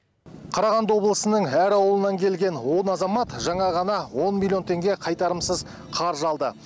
қарағанды облысының әр ауылынан келген он азамат жаңа ғана он миллион теңге қайтарымсыз қаржы алды